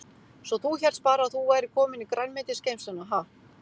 Svo þú hélst bara að þú værir komin í grænmetisgeymsluna, ha.